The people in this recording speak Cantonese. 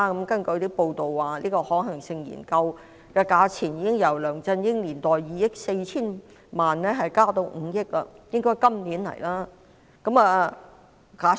根據報道，可行性研究的費用已由梁振英年代的2億 4,000 萬元增至5億元，看來政府今年會提交申請。